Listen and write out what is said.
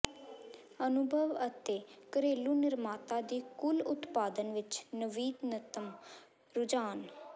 ਅਨੁਭਵ ਅਤੇ ਘਰੇਲੂ ਨਿਰਮਾਤਾ ਦੀ ਕੁੱਲ ਉਤਪਾਦਨ ਵਿੱਚ ਨਵੀਨਤਮ ਰੁਝਾਨ